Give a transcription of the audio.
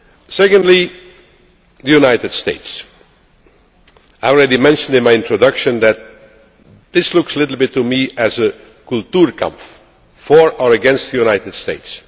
Secondly, the United States I already mentioned in my introduction that this looks a little bit to me like a Kulturkampf for or against the United States.